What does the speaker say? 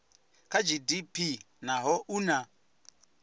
kha gdp naho u na